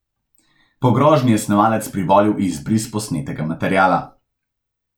Po grožnji je snemalec privolil v izbris posnetega materiala.